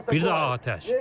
Bir daha atəş.